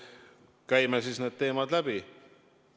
Käime siis need teemad läbi.